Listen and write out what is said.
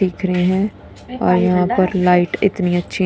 दिख रहे हैं और यहां पर लाइट इतनी अच्छी--